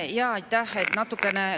Aitäh!